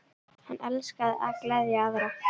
Hann elskaði að gleðja aðra.